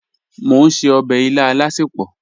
Mọ̀ n ṣẹ̀ ọbẹ̀ ilà alásẹpọ̀.